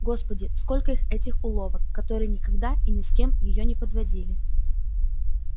господи сколько их этих уловок которые никогда и ни с кем её не подводили